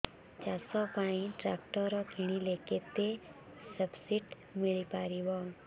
ଚାଷ ପାଇଁ ଟ୍ରାକ୍ଟର କିଣିଲେ କେତେ ସବ୍ସିଡି ମିଳିପାରିବ